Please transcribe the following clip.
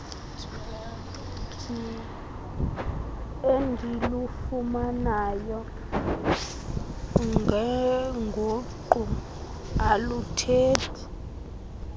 endilufumanayo ngenguqu aluthethi